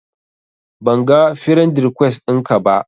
Banga firend rikwes ɗinki ba